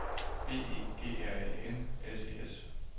B E G R Æ N S E S